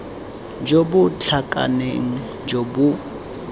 jo bo tlhakaneng jo bo